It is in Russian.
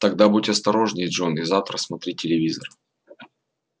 тогда будь осторожнее джон и завтра смотри телевизор